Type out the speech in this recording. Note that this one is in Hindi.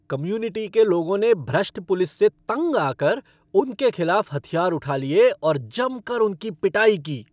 कम्यूनिटी के लोगों ने भ्रष्ट पुलिस से तंग आकर उनके खिलाफ हथियार उठा लिए और जमकर उनकी पिटाई की।